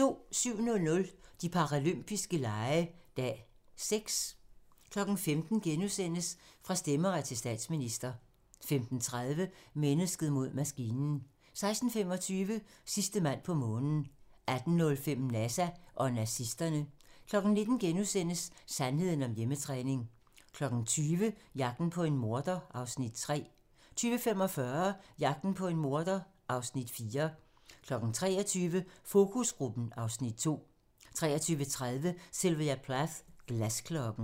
07:00: De paralympiske lege - dag 6 15:00: Fra stemmeret til statsminister * 15:30: Mennesket mod maskinen 16:25: Sidste mand på månen 18:05: NASA og nazisterne 19:00: Sandheden om hjemmetræning * 20:00: Jagten på en morder (Afs. 3) 20:45: Jagten på en morder (Afs. 4) 23:00: Fokusgruppen (Afs. 2) 23:30: Sylvia Plath - Glasklokken